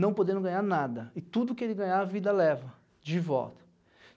não podendo ganhar nada, e tudo que ele ganhar, a vida leva de volta.